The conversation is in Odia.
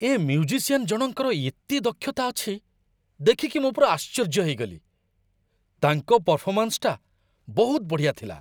ଏ ମ୍ୟୁଜିସିଆନ ଜଣଙ୍କର ଏତେ ଦକ୍ଷତା ଅଛି, ଦେଖିକି ମୁଁ ପୂରା ଆଶ୍ଚର୍ଯ୍ୟ ହେଇଗଲି । ତାଙ୍କ ପରଫର୍ମାନ୍ସଟା ବହୁତ ବଢ଼ିଆ ଥିଲା ।